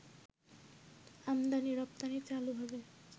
আমদানি-রপ্তানি চালু হবে